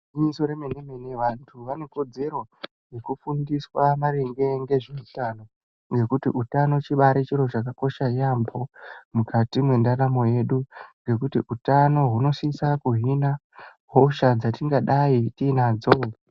Igwinyiso remene mene vantu vanekodzero yekufundiswa maringe ngezveutano nekuti utano chibari chiro chakakosha yaamho mukati mwendaramo yedu ngekuti utano hunosisa kuhina hosha dzatingadayi tinadzo.